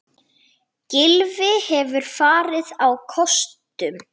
Gylfi hefur farið á kostum.